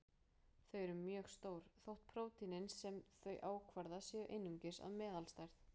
Þau eru mjög stór, þótt prótínin sem þau ákvarða séu einungis af meðalstærð.